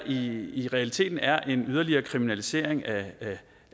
i realiteten er en yderligere kriminalisering af